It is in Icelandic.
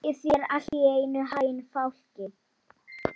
Þórhalli, spilaðu lag.